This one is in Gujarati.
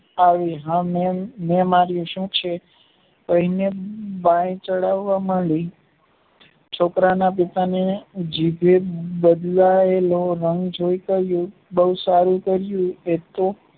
આવી હા મેં માર્યું સુ છે તેમને બાય ચડવા મંડી છોકરાના પિતા ને જીભે બોવ સારું કર્યું